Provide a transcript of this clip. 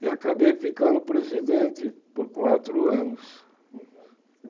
E acabei ficando presidente por quatro anos.